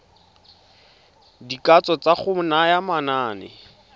dikatso tsa go naya manane